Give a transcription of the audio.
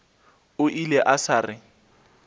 o ile a sa re